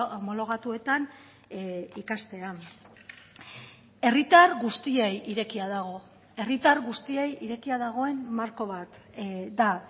homologatuetan ikastea herritar guztiei irekia dago herritar guztiei irekia dagoen marko bat da